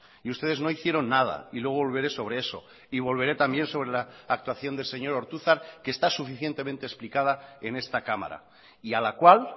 y ustedes no hicieron nada y luego volveré sobre eso y volveré también sobre la actuación del señor ortuzar que está suficientemente explicada en esta cámara y a la cual